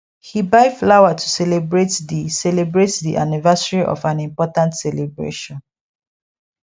he buy flower to celebrate the celebrate the anniversary of an important celebration